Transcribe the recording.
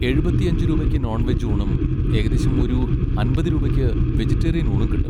എഴുപത്തിയഞ്ച് രൂപയ്ക്ക് non veg ഊണും ഏകദേശം ഒരു അമ്പത് രൂപയ്ക്ക് വെജിറ്റേറിയൻ ഊണും കിട്ടും.